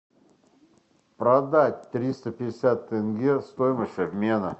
продать триста пятьдесят тенге стоимость обмена